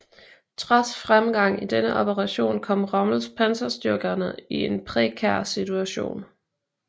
Trods fremgang i denne operation kom Rommels panserstyrker i en prekær situation